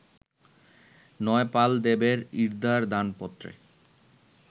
নয়পালদেবের ইর্দার দানপত্রে